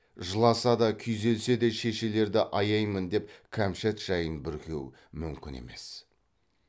жыласа да күйзелсе де шешелерді аяймын деп кәмшат жайын бүркеу мүмкін емес